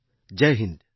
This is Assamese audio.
জয় হিন্দ